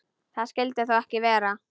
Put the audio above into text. Það skyldi þó ekki vera.